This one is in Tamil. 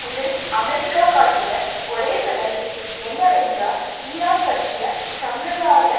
இதில் அமெரிக்கா காட்டிய ஒரே சலுகை என்னவென்றால் ஈரான் பற்றிய சம்பிரதாய